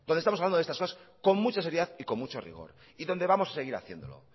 con mucha seriedad y con mucho rigor y donde vamos a seguir haciéndolo